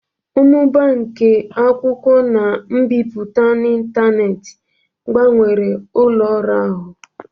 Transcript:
Mmụba nke e-akwụkwọ na mbipụta n'ịntanetị gbanwere ụlọ ọrụ ahu.